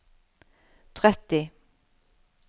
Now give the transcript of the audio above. tretti